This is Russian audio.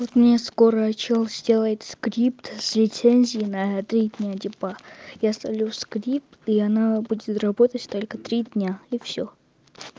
вот мне скоро человек сделает скрипт с лицензией на три дня типа я ставлю скрипт и она будет работать только три дня и всё